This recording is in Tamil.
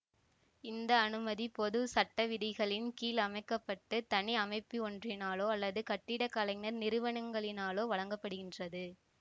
இந்த அனுமதி பொது சட்டவிதிகளின் கீழ் அமைக்க பட்டு தனி அமைப்பொன்றினாலோ அல்லது கட்டிடக்கலைஞர் நிறுவனங்களினாலோ வழங்கப்படுகின்றது